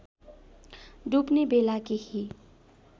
डुब्ने बेला केही